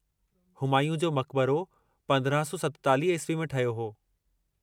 हुमायूं जो मक़बरो 1547 ईस्वी में ठहियो हो।